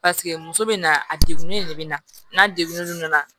Paseke muso bɛ na a degunnen de bɛ na n'a degun nana